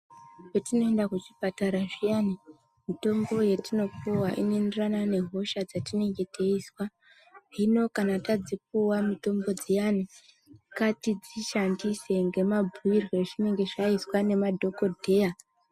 Patino enda kuchipatara zviyani mitombo yatinopuva ino enderana nehosha dzatinene teizwa. Hino kana tadzipuva mitombo dziyani ngati dzishandise ngema mbuirwe azvinenge zvaizwa ngema dhogodheya.